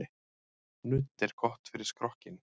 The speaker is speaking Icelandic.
Nudd er gott fyrir skrokkinn.